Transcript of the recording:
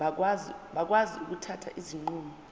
bakwazi ukuthatha izinqumo